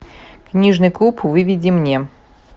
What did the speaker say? книжный клуб выведи мне